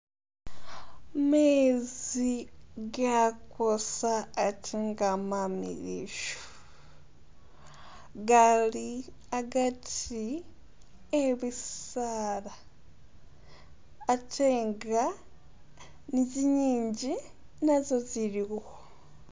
Mezi gakoosa ate nga mamiliyu, gali agati eh bisaala ate nga ni zingingi nazo ziliwo.